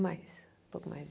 Mais, um pouco mais.